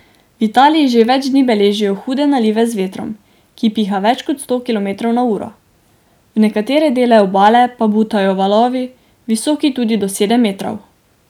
V Italiji že več dni beležijo hude nalive z vetrom, ki piha več kot sto kilometrov na uro, v nekatere dele obale pa butajo valovi, visoki tudi do sedem metrov.